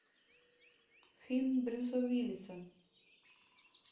фильм брюса уиллиса